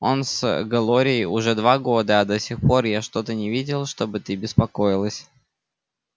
он с глорией уже два года а до сих пор я что-то не видел чтобы ты беспокоилась